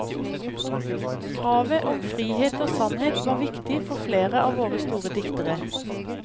Kravet om frihet og sannhet var viktig for flere av våre store diktere.